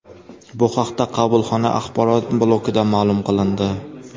Bu haqda qabulxona axborot blokida ma’lum qilindi .